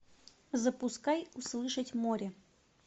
запускай услышать море